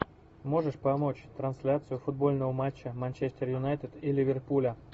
можешь помочь трансляцию футбольного матча манчестер юнайтед и ливерпуля